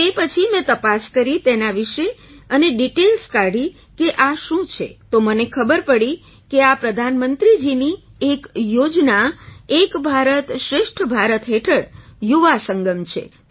તો તે પછી મેં તપાસ કરી તેના વિશે અને ડિટેઇલ્સ કાઢી કે આ શું છે તો મને ખબર પડી કે આ પ્રધાનમંત્રીજીની એક યોજના એક ભારત શ્રેષ્ઠ ભારત હેઠળ યુવા સંગમ છે